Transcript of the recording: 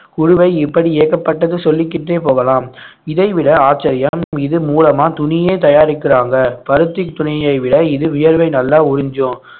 இப்படி ஏகப்பட்டது சொல்லிக்கிட்டே போகலாம் இதைவிட ஆச்சரியம் இது மூலமா துணியே தயாரிக்கிறாங்க பருத்தித் துணியை விட இது வியர்வை நல்லா உறிஞ்சும்